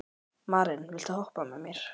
Maren, viltu hoppa með mér?